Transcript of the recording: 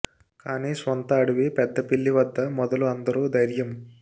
కానీ స్వంత అడవి పెద్ద పిల్లి వద్ద మొదలు అందరూ ధైర్యం